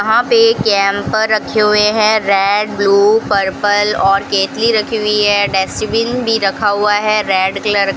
वहां पे एक कैम्पर रखे हुए है रेड ब्ल्यू पर्पल और केतली रखी हुई है डस्टबिन भी रखा हुआ है रेड कलर --